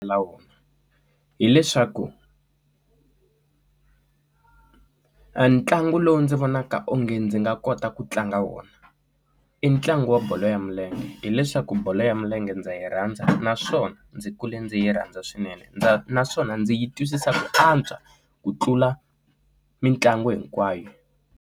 La hileswaku a ntlangu lowu ndzi vonaka onge ndzi nga kota ku tlanga wona i ntlangu wa bolo ya hileswaku bolo ya milenge ndza yi rhandza naswona ndzi kule ndzi yi rhandza swinene naswona ndzi yi twisisa ku antswa ku tlula mitlangu hinkwayo.